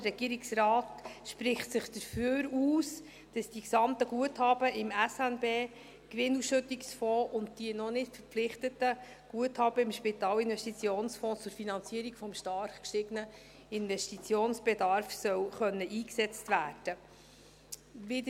Der Regierungsrat spricht sich dafür aus, dass die gesamten Guthaben im SNB-Gewinnausschüttungsfonds und die noch nicht verpflichteten Guthaben im Spitalinvestitionsfonds zur Finanzierung des stark gestiegenen Investitionsbedarfs eingesetzt werden können sollen.